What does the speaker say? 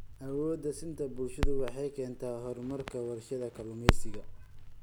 Awood-siinta bulshadu waxay keentaa horumarka warshadaha kalluumaysiga.